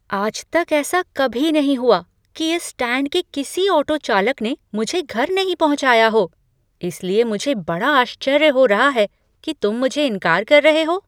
आज तक ऐसा कभी नहीं हुआ कि इस स्टैंड के किसी ऑटो चालक ने मुझे घर नहीं पहुँचाया हो, इसलिए मुझे बड़ा आश्चर्य हो रहा है कि तुम मुझे इनकार कर रहे हो।